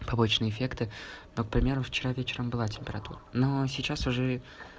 побочные эффекты ну к например вчера вечером была температура но сейчас уже